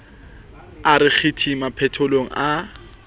a re qiti maphethelong a